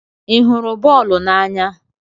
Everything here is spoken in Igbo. Ị hụrụ boolu n'anya?